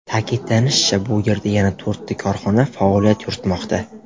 Ta’kidlanishicha, bu yerda yana to‘rtta korxona faoliyat yuritmoqda.